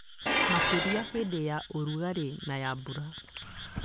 Makĩria hĩndĩ ya ũrugarĩ na ya mbura